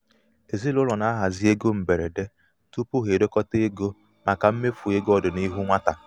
ezinaụlọ na-ahazi égo mgberede tupu ha edokọta ego màkà mmefu ego ọdịnihu nwata.